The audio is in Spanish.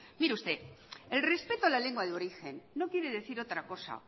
mire usted el respeto a la lengua de origen no quiere decir otra cosa